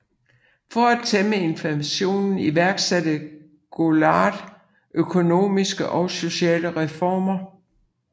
For at tæmme inflationen iværksatte Goulart økonomiske og sociale reformer